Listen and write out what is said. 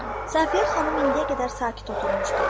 Saqiyə xanım indiyə qədər sakit oturmuşdu.